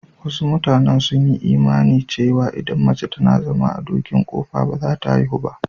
Wasu matanen sun yi imani cewa idan mace tana zama a dokin ƙofa ba za ta haihu ba.